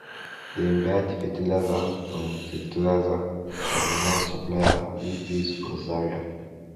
dem buy the fertilizer from fertilizer from one supplier wey base for zaria